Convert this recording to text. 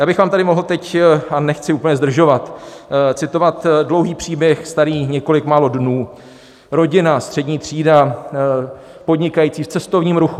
Já bych vám tady mohl teď, a nechci úplně zdržovat, citovat dlouhý příběh starý několik málo dnů: Rodina, střední třída podnikající v cestovním ruchu.